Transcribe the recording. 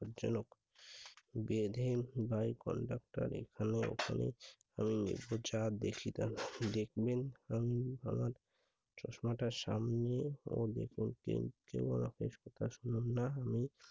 বিপদজনক। বেঁধে ঘুমায় conductor এখানে ওখানে। আমি যা দেখি তা দেখবেন। আমিন মামা চশমাটা সামনে নিয়ে না আমি